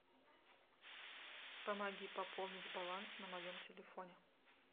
помоги пополнить баланс на моем телефоне